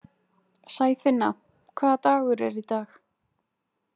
Sæfinna, hvaða dagur er í dag?